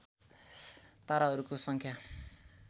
ताराहरूको सङ्ख्या